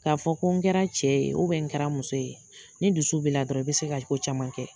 K'a fɔ ko n kɛra cɛ ye n kɛra muso ye, ni dusu b'i la dɔrɔn i bɛ se ka ko caman kɛ.